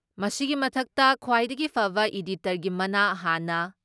ꯃꯁꯤꯒꯤ ꯃꯊꯛꯇ ꯈ꯭ꯋꯥꯏꯗꯒꯤ ꯐꯕ ꯏꯗꯤꯇꯔꯒꯤ ꯃꯅꯥ ꯍꯥꯟꯅ